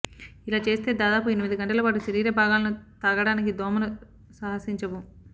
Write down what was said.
ఇలాచేస్తే దాదాపు ఎనిమిది గంటల పాటు శరీరా భాగాలను తాకడానికి దోమలు సాహసించవు